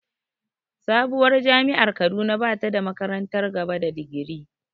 Sabuwar jami’ar Kaduna ba ta da makarantar gaba da digiri.